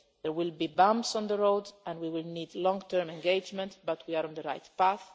a day. There will be bumps on the road and we will need long term engagement, but we are on the right